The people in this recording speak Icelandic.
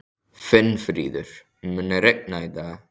Finnfríður, mun rigna í dag?